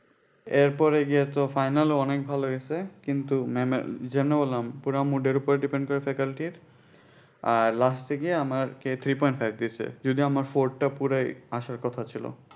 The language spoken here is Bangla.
এরপরে গিয়ে তো final এ অনেক ভালো গেছে কিন্তু যেমনে বললাম পুরা mood এর ওপর depend করে faculty র আর last এ গিয়ে আমার কে three point five দিছে যদিও আমার four টা পুরাই আসার কথা ছিল।